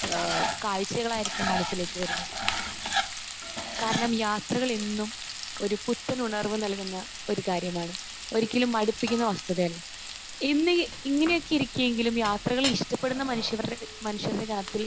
ഏഹ് കാഴ്ചകളായിരിക്കാം മനസ്സിലേക്ക് വരുന്നത്. കാരണം യാത്രകൾ എന്നും ഒരു പുത്തൻ ഉണർവ്വ് നൽകുന്ന ഒരു കാര്യമാണ്. ഒരിക്കലും മടുപ്പിക്കുന്ന വസ്തുതയല്ല. എന്ന ഇങ്ങനെയൊക്കെ ഇരിക്കുമെങ്കിലും യാത്രകൾ ഇഷ്ടപ്പെടുന്ന മനുഷ്യർ മനുഷ്യരുടെ യാത്രയിൽ